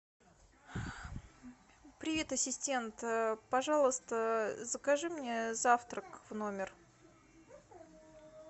привет ассистент пожалуйста закажи мне завтрак в номер